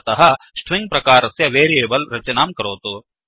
अतः स्ट्रिंग प्रकारस्य वेरियेबल् रचनां करोतु